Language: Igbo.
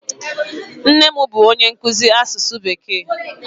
Nne m bụ onye nkụzi asụsụ bekee.